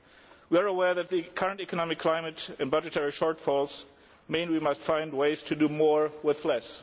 We are aware that the current economic climate and budgetary shortfalls mean that we must find ways to do more with less.